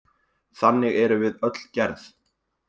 Þannig erum við öll gerð.